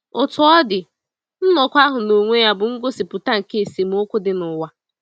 Otú ọ dị, nnọkọ ahụ n’onwe ya bụ ngosipụta nke esemokwu dị n’ụwa.